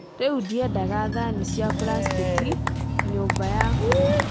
Rĩu ndiendaga thani cia plastiki nyũmba yakwa